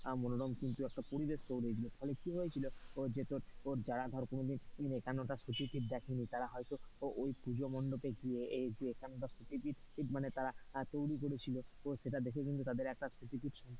খুব সুন্দর একটা মনোরম পরিবেশ তৈরী হয়েছিলো ফলে কি হয়েছিল ওই যে যারা তোর কোনোদিন একান্নটা সতীপীঠ দেখে নি তারা হয়তো ওই পুজো মণ্ডপে গিয়ে এই যে একান্নটা সতী পীঠ মানে তারা তৈরী করেছিল সেটা দেখে কিন্তু তাদের,